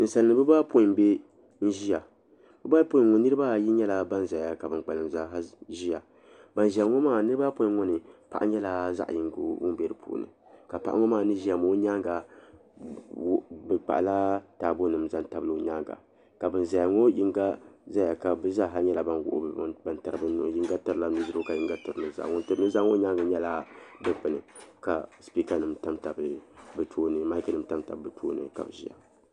ninsalinima bɛ baa ayɔpɔi n-ʒiya bɛ baa ayɔpɔi ŋɔ niriba ayi nyɛla ban zaya ka ban kpalim zaa ha ʒiya ban ʒiya ŋɔ maa niriba ayɔpɔi ŋɔ ni paɣa nyɛla zaɣ' yingo ŋun be di puuni ka paɣa ŋɔ maa ni ʒiya maa o nyaaga bɛ kpahila taabo nima n-zaŋ tabili o nyaaga ka ban ʒiya ŋɔ yinga zaya ka bɛ zaa ha nyɛla ban wuɣi bɛ nuhi n-tiri bɛ luɣili yinga tiri la nu' dirigu ka yinga tiri nu' zaa ŋun tiri nu' zaa ŋɔ nyaaga nyɛla dukpuni ka sipikanima tam tam bɛ tooni ni maki nima tam tam bɛ tooni ka bɛ ʒiya.